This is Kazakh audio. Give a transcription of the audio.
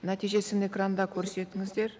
нәтижесін экранда көрсетіңіздер